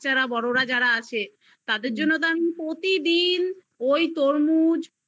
বড়োরা যারা আছে তাদের জন্য তো আমি প্রতিদিন ওই তরমুজ